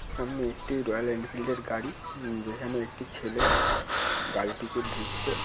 এটি একটি রয়েল এনফিল্ডের গাড়ি। যেখানে একটি ছেলে গাড়িটিকে ধুচ্ছে।